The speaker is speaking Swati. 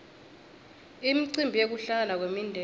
imicimbi yekuhlangana kwemindzeni